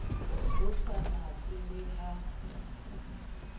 ho sa natswe le ha